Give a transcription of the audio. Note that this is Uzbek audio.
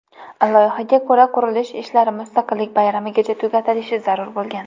Loyihaga ko‘ra, qurilish ishlari Mustaqillik bayramigacha tugatilishi zarur bo‘lgan.